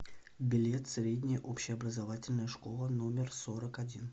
билет средняя общеобразовательная школа номер сорок один